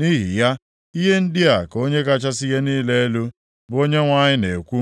“Nʼihi ya, ihe ndị a ka Onye kachasị ihe niile elu, bụ Onyenwe anyị na-ekwu: